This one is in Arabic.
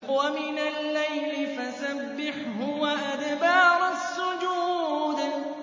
وَمِنَ اللَّيْلِ فَسَبِّحْهُ وَأَدْبَارَ السُّجُودِ